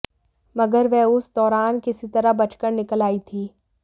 मगर वह उस दौरान किसी तरह बचकर निकल आई थीं